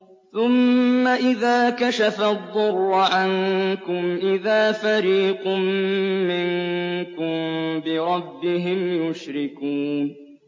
ثُمَّ إِذَا كَشَفَ الضُّرَّ عَنكُمْ إِذَا فَرِيقٌ مِّنكُم بِرَبِّهِمْ يُشْرِكُونَ